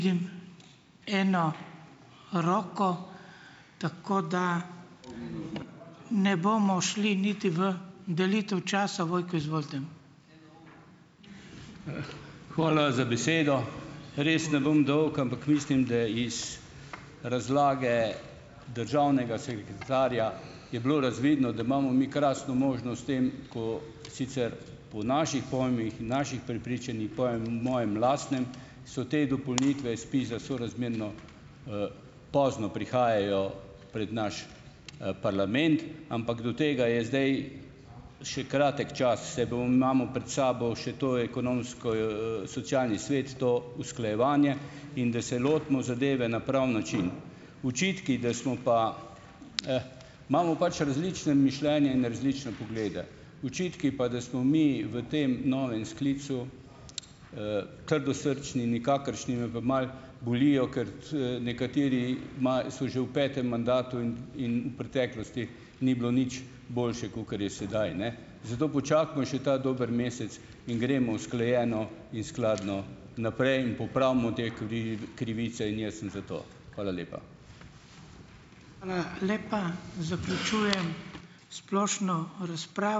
Eno roko tako, da ne bomo šli niti v delitev časa, Vojko, izvolite. Hvala za besedo. Res ne bom dolg, ampak mislim, da iz razlage državnega sekretarja je bilo razvidno, da imamo mi krasno možnost s tem, ko sicer po naših pojmih, naših prepričanjih, pojem mojem lastnem, so te dopolnitve SPIZ za sorazmerno, pozno prihajajo pred naš, parlament, ampak do tega je zdaj še kratek čas , imamo pred sabo še to Ekonomsko-, socialni svet, to usklajevanje in da se lotimo zadeve na pravi način . Očitki, da smo pa, imamo pač različne mišljenje in različne poglede . Očitki pa, da smo mi v tem novem sklicu, trdosrčni, nikakršni, me pa malo bolijo, kot nekateri so že v petem mandatu in, in preteklosti ni bilo nič boljše, kakor je sedaj. Zato počakajmo še ta dober mesec in gremo usklajeno in skladno naprej in popravimo te krivice in jaz sem za to. Hvala lepa. Hvala lepa. Zaključujem splošno ...